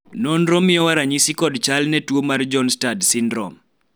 nonro miyowa ranyisi kod chal gi ne tuo mar Bjornstad syndrome